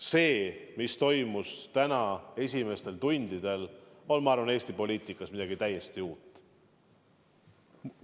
See, mis toimus tänase kuupäeva esimestel tundidel, on, ma arvan, Eesti poliitikas midagi täiesti uut.